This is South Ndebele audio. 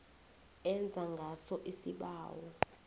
enza ngaso isibawo